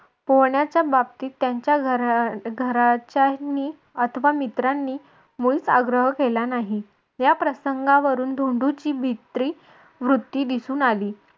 पोहण्याच्या बाबतीत त्यांच्या घराच्या अह घरच्यांनी अथवा मित्रांनी मुळीच आग्रह केला नाही. या प्रसंगावरून धोंडूची भित्री वृत्ती दिसून आली.